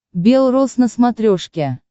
бел рос на смотрешке